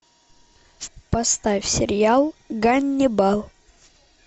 поставь сериал ганнибал